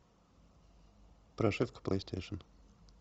прошивка плейстейшен